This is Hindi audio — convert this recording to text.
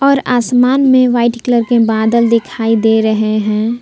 और आसमान में वाइट कलर के बादल दिखाई दे रहे हैं ।